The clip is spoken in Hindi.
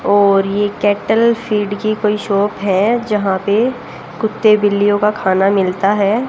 और ये कैटल फीड की कोई शॉप है जहां पे कुत्ते बिल्लियों का खाना मिलता है।